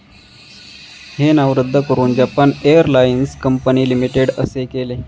हे नाव रद्द करून जपान एअरलाइन्स कंपनी लिमिटेड असे केले.